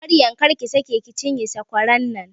Maryam, kar ki sake ki cinye sakwaran nan!